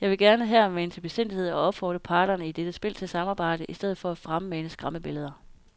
Jeg vil gerne her mane til besindighed og opfordre parterne i dette spil til samarbejde i stedet for at fremmane skræmmebilleder.